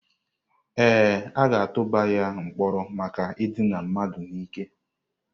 Ee, a ga-atụba ya mkpọrọ maka idina mmadụ n'ike.